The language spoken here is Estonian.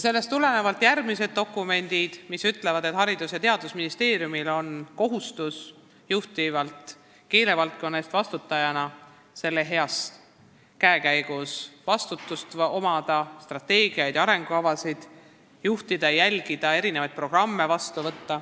Sellest tulenevalt on teistes dokumentides öeldud, et Haridus- ja Teadusministeerium on juhtiva keelevaldkonna eest vastutajana kohustatud omama strateegiaid ja arengukavasid ning juhtima ja jälgima erinevate programmide elluviimist.